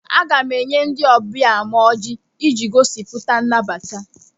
Aga m enye ndị ọbịa m ọjị iji gosipụta nnabata.